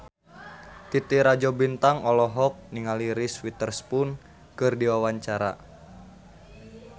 Titi Rajo Bintang olohok ningali Reese Witherspoon keur diwawancara